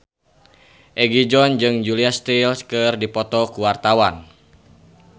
Egi John jeung Julia Stiles keur dipoto ku wartawan